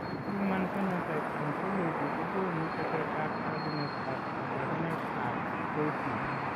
Human Phenotype ontology kogonu tetet ab tagunet ak kabarunaik ab Roifman